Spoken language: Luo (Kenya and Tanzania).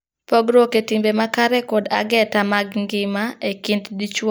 Pogruok e timbe makare kod ageta mag ngima e kind dichwo kod dhako nyalo kelo weruok.